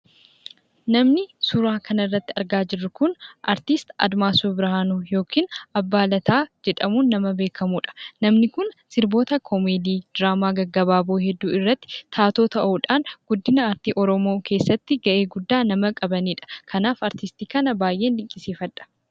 Namni suuraa kana irratti argaa jiruu kun, Artistti Addimasuu Birihanuu yookiin Abbaa Laataa jedhamuun nama beekamudha. Namni kun sirboota komeedii, diiramoota gaggaababoo irratti taatoo ta'udhaan, guddinaa Arti Oromoo keessaatti gahee guddaaa nama qabanidha. Kanaaf, Artistti kana baay'een dinqisiifadha.